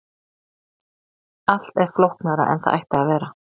allt er flóknara en það ætti að vera